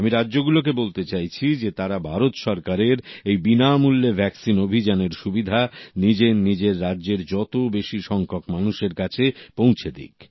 আমি রাজ্যগুলোকেও বলতে চাইছি যে তারা ভারত সরকারের এই বিনামূল্যে ভ্যাকসিন অভিযানের সুবিধা নিজের নিজের রাজ্যের যত বেশি সংখ্যক মানুষের কাছে পৌঁছে দিক